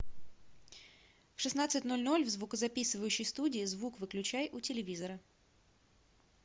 в шестнадцать ноль ноль в звукозаписывающей студии звук выключай у телевизора